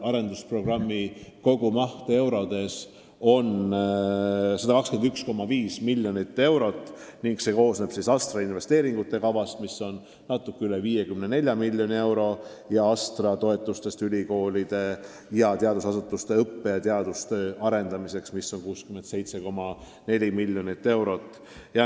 Arendusprogrammi kogumaht on 121,5 miljonit eurot ning see koosneb ASTRA investeeringukavast, mis on natuke üle 54 miljoni euro, ja ASTRA toetustest ülikoolide ja teadusasutuste õppe- ja teadustöö arendamiseks, mis on 67,4 miljonit eurot.